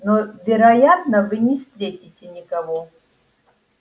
но вероятно вы не встретите никого